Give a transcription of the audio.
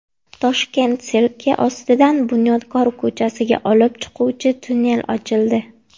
Toshkent sirki ostidan Bunyodkor ko‘chasiga olib chiquvchi tunnel ochildi.